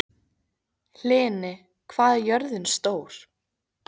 Hlini, hvað er jörðin stór?